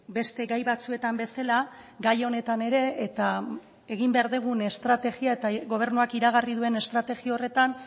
beste gai batzuetan bezala gai honetan ere eta egin behar degun estrategia eta gobernuak iragarri duen estrategia horretan